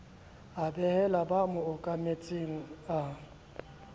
a behela ba mmokanetseng a